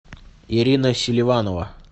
ирина селиванова